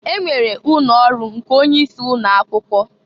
E nwere ụnọ ọrụ nke onye isi ụnọ akwụkwọ.